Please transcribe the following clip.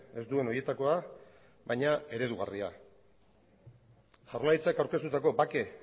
ez duen horietakoa baina eredugarria jaurlaritzak aurkeztutako bake